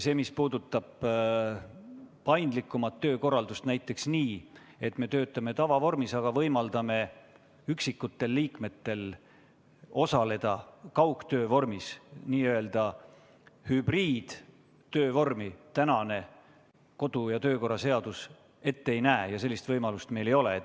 See, mis puudutab paindlikumat töökorraldust, näiteks seda, et me töötame tavavormis, aga võimaldame mõnel liikmel osaleda kaugtöö vormis – sellist n-ö hübriidtöövormi kodu- ja töökorra seadus ette ei näe ja sellist võimalust meil ei ole.